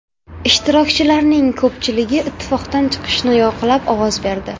Ishtirokchilarning ko‘pchiligi ittifoqdan chiqishni yoqlab ovoz berdi.